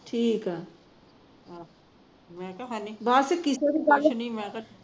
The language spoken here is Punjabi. ਠੀਕ ਐ ਬੱਸ ਕਿਸੇ ਦੀ ਗੱਲ